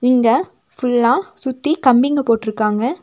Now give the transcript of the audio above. இங்க ஃபுல்லா சுத்தி கம்பிங்க போற்றுக்காங்க.